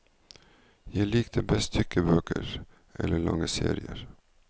Jeg likte best tykke bøker, eller lange serier.